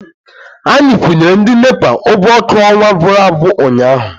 Anyị kwụnyere ndị NEPA ụgwọ ọkụ ọnwa gụrụ agwụ ụnyaahụ.